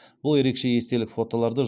бұл ерекше естелік фотоларды